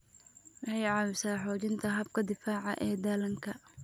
Waxay caawisaa xoojinta habka difaaca ee dhallaanka.